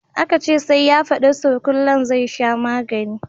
Aka ce sai ya fadi surkullen zai sha maganin